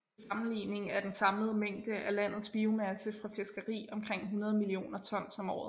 Til sammenligning er den samlede mængde af landet biomasse fra fiskeri omkring 100 millioner tons om året